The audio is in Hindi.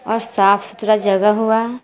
आ साफ सुथरा जगह हुआ है।